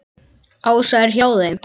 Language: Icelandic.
Ása er hjá þeim.